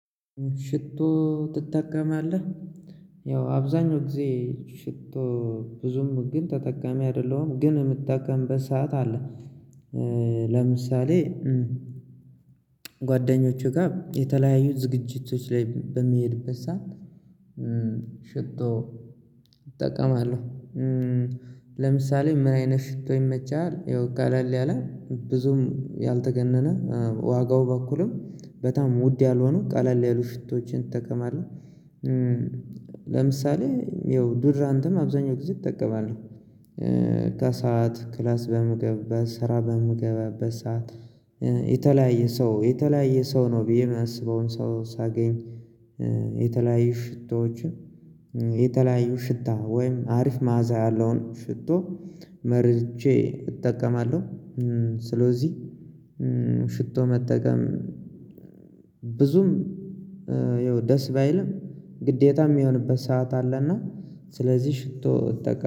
ሽቶ ትጠቀማለህ ያው አብዛኛው ጊዜ ሽቶ ብዙም ግን ተጠቃሚ አይደለሁም ግን ምጠቀምበት ሰዓት አለ። ለምሳሌ ጓደኞቹ ጋ የተለያዩ ዝግጅቶች ላይ በሚሄድበት ሰዓት ሽቶ እጠቀማለሁ። ለምሳሌ ምን አይነት ሽቶ ይመቻሃል? ያው ቀለል ያለ ብዙም ያልተጋነነ ዋጋው በኩልም በጣም ውድ ያልሆኑ ቀለል ያሉ ሽቶዎችን እጠቀማለሁ። ለምሳሌ ያው ዶድራንትም አብዛኛው ጊዜ እጠቀማለሁ። ሽቶ እጠቀማለሁ ለምሳሌ ምን አይነት ሽቶ ይመቻሃል? ያው ቀለል ያለ ብዙም ያልተጋነነ ዋጋው በኩልም በጣም ውድ ያልሆኑ ቀለል ያሉ ሽቶዎችን እእጠቀማለሁ። ስለዚህ ሽቶ መጠቀም ብዙም ደስ ባይልም ግዴታም ሚሆንበት ሰዓት አለና ስለዚህ ሽቶ እጠቀማ።